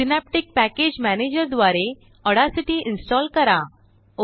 synaptic package manager द्वारे Audacityइंस्टाल करा